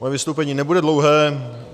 Moje vystoupení nebude dlouhé.